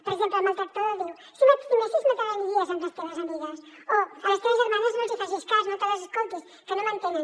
per exemple el maltractador diu si m’estimessis no te n’aniries amb les teves amigues o a les teves germanes no els facis cas no te les escoltis que no m’entenen